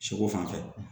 Seko fan fɛ